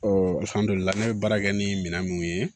ne bɛ baara kɛ ni minɛn minnu ye